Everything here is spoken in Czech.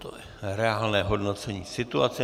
To je reálné hodnocení situace.